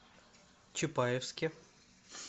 чапаевске